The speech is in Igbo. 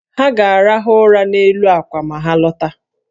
Ha ga-arahụ ụra n’elu àkwà ma ha lọta